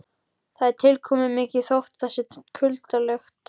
Það er tilkomumikið þótt það sé kuldalegt.